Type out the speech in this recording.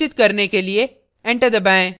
सुनिश्चित करने के लिए enter दबाएँ